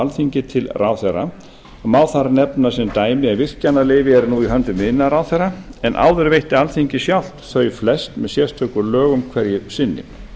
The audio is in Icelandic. alþingi til ráðherra og má þar nefna sem dæmi að virkjanaleyfi eru nú í höndum iðnaðarráðherra en áður veitti alþingi sjálft þau flest með sérstökum lögum hverju sinni